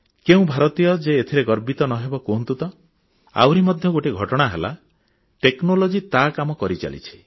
କେଉଁ ଭାରତୀୟ ଯେ ଏଥିରେ ଗର୍ବିତ ନ ହେବ କୁହନ୍ତୁ ତ ଆହୁରି ମଧ୍ୟ ଗୋଟିଏ ଘଟଣା ହେଲା ପ୍ରଯୁକ୍ତି ବିଦ୍ୟା ତା କାମ କରିଚାଲିଛି